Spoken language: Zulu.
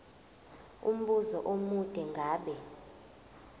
umbuzo omude ngabe